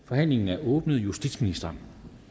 forhandlingen er åbnet justitsministeren